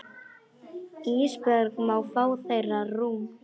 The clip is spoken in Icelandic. Ísbjörg má fá þeirra rúm.